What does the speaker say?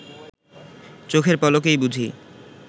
চোখের পলকেই বুঝি